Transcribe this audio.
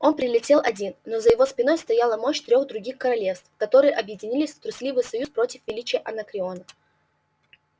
он прилетел один но за его спиной стояла мощь трёх других королевств которые объединились в трусливый союз против величия анакреона